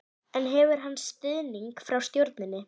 En hefur hann stuðning frá stjórninni?